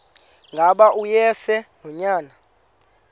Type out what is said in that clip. ngaba uyise nonyana